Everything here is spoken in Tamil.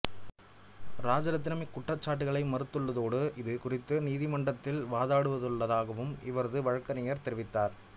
ராஜரத்தினம் இக்குற்றச்சாட்டுக்களை மறுத்துள்ளதோடு இது குறித்து நீதிமன்றத்தில் வாதாடவுள்ளதாகவும் இவரது வழக்கறிஞர் தெரிவித்தார்